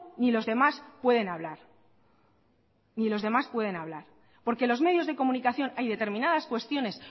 ni los demás pueden hablar ni los demás pueden hablar porque los medios de comunicación hay determinadas cuestiones